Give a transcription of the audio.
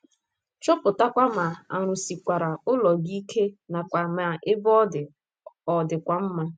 Chọpụtakwa ma a rụsikwara ụlọ gị ike nakwa ma ebe ọ dị ọ̀ dịkwa mma.